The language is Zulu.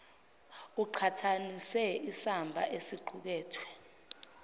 aqhathanise isamba esiqukethwe